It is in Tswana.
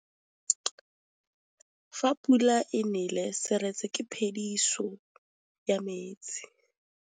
Fa pula e nelê serêtsê ke phêdisô ya metsi.